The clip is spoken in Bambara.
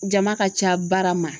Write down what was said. Jama ka ca baara ma.